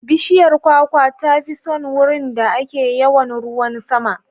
Bishiyar kwakwa ta fi son wurin da ake yawan ruwan sama.